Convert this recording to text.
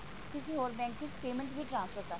ਕਿਸੀ ਹੋਰ bank ਚ payment ਵੀ transfer ਕਰ ਸਕਦੇ ਹੋ